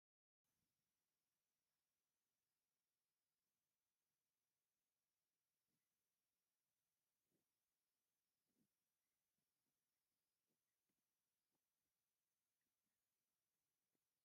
ብላዕሊ ኬንዳ ወጢሩ ፅላል ብምፍጣር ናይ ስፌት መኪና ዘቐመጠ ሰብ እኒሆ፡፡ እዚ ሰብ ብኸምዚ መንገዲ ናይ ስራሕ ቦታ ምፍጣሩ ክበረታታዕ ዶ ይግብኣ?